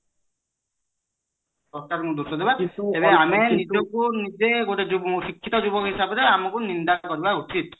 ସରକାର ଙ୍କୁ ଦୋଷ ଦବା ଆମେ ନିଜକୁ ନିଜେ ଗୋଟେ ଶିକ୍ଷିତ ଯୁବକ ହିସାବରେ ଆମକୁ ନିନ୍ଦା କରିବା ଉଚିତ